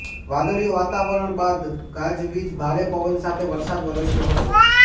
વાદળિયું વાતવરણ બાદ ગાજવીજ ભારે પવન સાથે વરસાદ વરસ્યો હતો